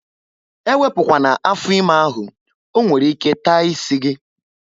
Ewepu kwana afọ ime ahụ! ọ nwere ike taa isi gị